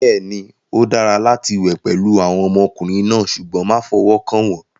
Bẹ́ẹ̀ni, ó dára láti wẹ̀ pẹ̀lú àwọn ọmọkùnrin náà, ṣùgbọ́n má fọwọ́ kàn wọ́n.